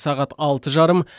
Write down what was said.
сағат алты жарым